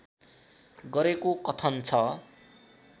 गरेको कथन छ